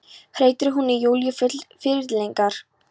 hreytir hún í Júlíu full fyrirlitningar.